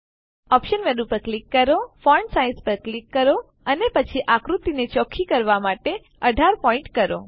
options menu પર click કરો font size પર ક્લિક કરો અને પછી આકૃતિને ચોખ્ખી કરવા માટે ૧૮ પોઈન્ટ કરો